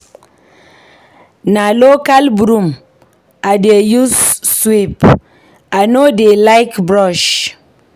Na local broom I dey use sweep, I no dey like brush.